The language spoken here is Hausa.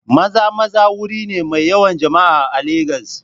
Maza-Maza wuri ne mai yawan jama'a a Legas.